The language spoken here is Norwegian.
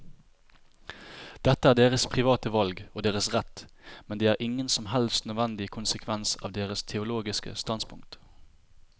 Dette er deres private valg og deres rett, men det er ingen som helst nødvendig konsekvens av deres teologiske standpunkt.